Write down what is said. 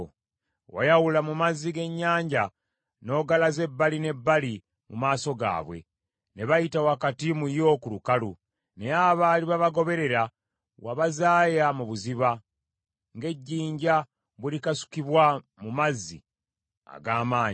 Wayawula mu mazzi g’ennyanja n’ogalaza ebbali n’ebbali mu maaso gaabwe, ne bayita wakati mu y’oku lukalu, naye abaali babagoberera wabazaaya mu buziba, ng’ejjinja bwe likasukibwa mu mazzi ag’amaanyi.